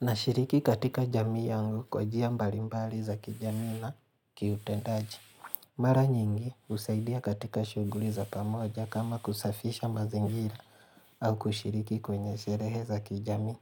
Nashiriki katika jamii yangu kwa jia mbali mbali za kijami na kiutendaji. Mara nyingi husaidia katika shuguli za pamoja kama kusafisha mazingira au kushiriki kwenye sherehe za kijami.